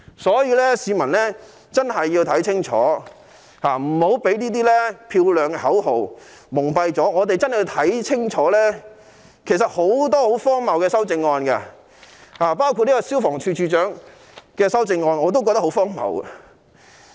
所以市民真的要看清楚，不要被他們漂亮的口號蒙蔽，我們要看清楚其實有很多十分荒謬的修正案，例如有關消防處處長的修正案，我同樣感到荒謬。